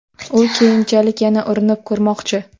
U keyinchalik yana urinib ko‘rmoqchi.